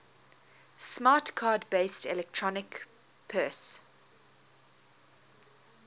smart card based electronic purse